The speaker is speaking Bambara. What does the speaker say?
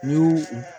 N y'u